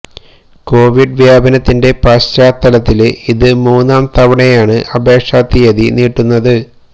Covid വ്യാപനത്തിന്റെ പശ്ചാത്തലത്തില് ഇത് മൂന്നാം തവണയാണ് അപേക്ഷാ തീയതി നീട്ടുന്നത്